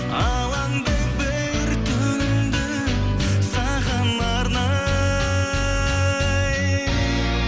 алаңдап бір түнді саған арнай